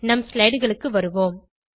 நம் slideகளுக்கு வருவோம்